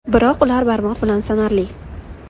Biroq ular barmoq bilan sanarli.